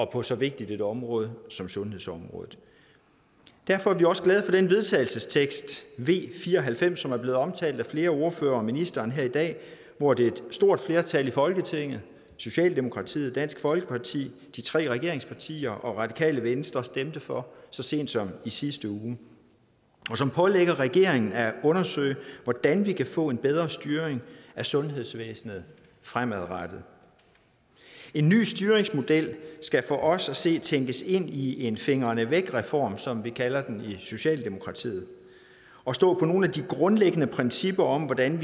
på så vigtigt et område som sundhedsområdet derfor er vi også glade for den vedtagelsestekst v fire og halvfems som er blevet omtalt af flere ordførere og ministeren her i dag hvor et stort flertal i folketinget socialdemokratiet dansk folkeparti de tre regeringspartier og radikale venstre stemte for så sent som i sidste uge og som pålægger regeringen at undersøge hvordan vi kan få en bedre styring af sundhedsvæsenet fremadrettet en ny styringsmodel skal for os at se tænkes ind i en fingrene væk reform som vi kalder den i socialdemokratiet og stå på nogle af de grundlæggende principper om hvordan